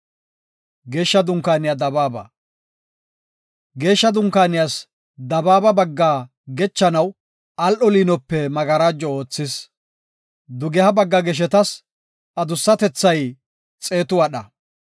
Geeshsha Dunkaaniyas dabaaba baggaa gechanaw al7o liinope magarajo oothis. Dugeha bagga geshetas adussatethay xeetu wadha.